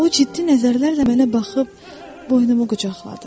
O ciddi nəzərlərlə mənə baxıb, boynumu qucaqladı.